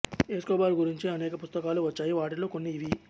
Escobar గురించి అనేక పుస్తకాలు వచ్చాయి వాటిలో కొన్ని ఇవి